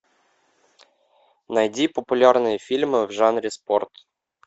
найди популярные фильмы в жанре спорт